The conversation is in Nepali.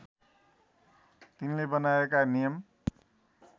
तिनले बनाएका नियम